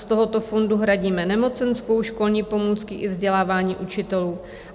"Z tohoto fondu hradíme nemocenskou, školní pomůcky i vzdělávání učitelů.